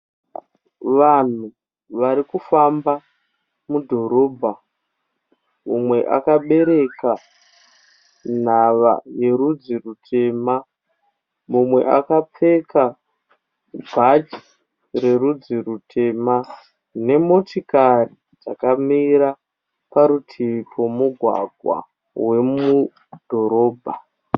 Vanhu vari kufamba mudhorobha. Umwe akabereka nhava yerudzi rutema. Mumwe akapfeka bhachi rerudzi rutema, nemotikari dzakamira parutivi pomugwagwa wemudhorobha.